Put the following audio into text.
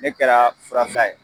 Ne kɛra furasa ye